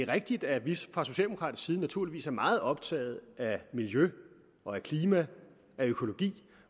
er rigtigt at vi fra socialdemokratisk side naturligvis er meget optaget af miljø af klima af økologi